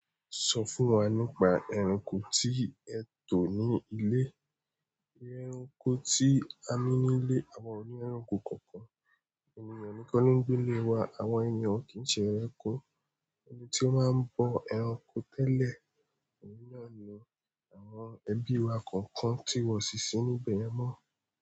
Sọ fún wa nípa ẹranko tí ẹ tò ni ilé. Ẹranko tí a ní nílé, àwa ò ni ẹranko kọ̀ọ̀kan. Ènìyàn nìkan ni ń gbé lé wa, àwa ènìyàn kì í ṣe ẹranko. Ẹni tí ó máa ń bọ ẹranko tẹ́lẹ̀, ènìyàn ni, àwọn ẹbí wa kọ̀ọ̀kan ti wọ ṣíṣí níbẹ̀ yẹn mọ́